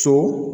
So